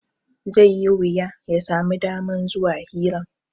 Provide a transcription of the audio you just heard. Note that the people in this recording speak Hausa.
Zai yi wuya ya sami daman zuwa hiran